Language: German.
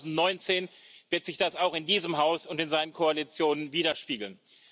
Ab 2019 wird sich das auch in diesem Haus und in seinen Koalitionen widerspiegeln.